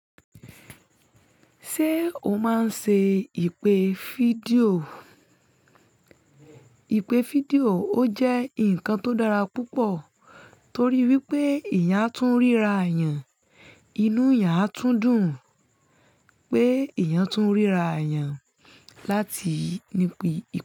Ṣé o máa ń ṣe ìpè fídíò? Ìpè fídíò ó jẹ́ nǹkan tó dára púpọ̀ torí wípé èèyàn a tún ríra yàn, inú yàn a tún dùn pé èèyàn tún ríra yàn láti ní ipè.